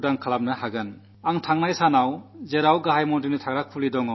അപ്പോഴേ നമുക്ക് രാജ്യത്തെ ദാരിദ്ര്യത്തിൽ നിന്നു മോചിപ്പിക്കാനാകൂ